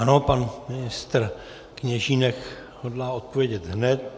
Ano, pan ministr Kněžínek hodlá odpovědět hned.